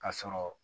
Ka sɔrɔ